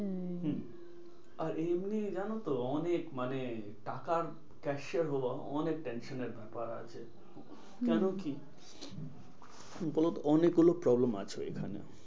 হম আর এমনি জানোতো অনেক মানে টাকার cashier হওয়া অনেক tension এর ব্যাপার আছে। কেন কি? হম হম বলতো অনেক গুলো problem আছে ওইখানে।